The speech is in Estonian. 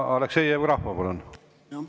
Aleksei Jevgrafov, palun!